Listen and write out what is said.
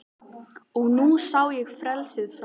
Og nú sá ég frelsið fram